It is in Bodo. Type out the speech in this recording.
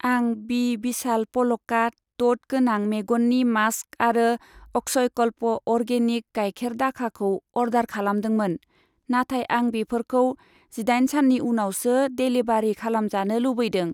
आं बि विशाल प'लका द'ट गोनां मेगननि मास्क आरो अक्षयकल्प अर्गेनिक गायखेर दाखाखौ अर्डार खालामदोंमोन, नाथाय आं बेफोरखौ जिदाइन साननि उनावसो डेलिबारि खालामजानो लुबैदों।